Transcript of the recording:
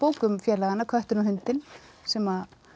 um félagana köttinn og hundinn sem